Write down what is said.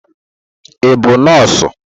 Ị bụ nọọsụ?